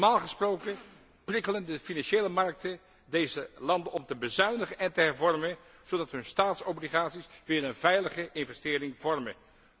Normaal gesproken prikkelen de financiële markten deze landen om te bezuinigen en te hervormen, zodat hun staatsobligaties weer een veilige investering vormen.